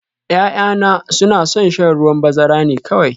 Ya'yana suna son shan ruwan bazara ne kawai